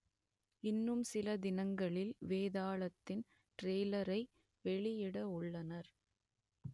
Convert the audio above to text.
இன்னும் சில தினங்களில் வேதாளத்தின் ட்ரெய்லரை வெளியிட உள்ளனர்